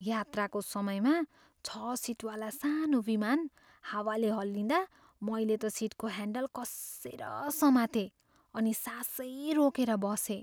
यात्राको समयमा छ सिटवाला सानो विमान हावाले हल्लिँदा मैले त सिटको ह्यान्डल कस्सेर समातेँ अनि सासै रोकेर बसेँ।